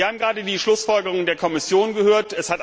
Wir haben gerade die Schlussfolgerungen der Kommission gehört.